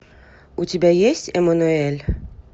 у тебя есть эммануэль